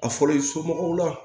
A fɔra i somɔgɔw la